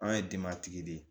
An ye denbatigi de ye